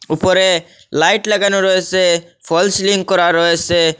উপরে লাইট লাগানোর রয়েছে ফলস্ সিলিং করা রয়েছে।